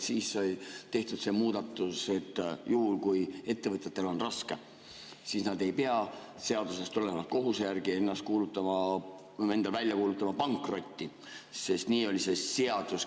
Siis sai tehtud see muudatus, et juhul kui ettevõtjatel on raske, siis nad ei pea seadusest tuleneva kohustuse järgi kuulutama välja enda pankrotti, sest nii oli see seadus.